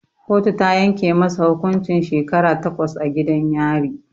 Kotu ta yanke masa hukuncin shekara takwas a gidan yari